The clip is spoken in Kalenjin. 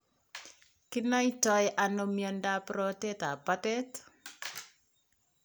Kinaitoi ano miondap rotet ap patet